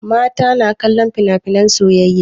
Mata na kallon finafinan soyayya.